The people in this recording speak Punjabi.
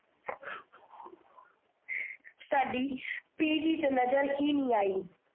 ਸਾਡੀ ਪੀਜੀ ਚ ਨਜਰ ਹੀ ਨਹੀਂ ਆਈ।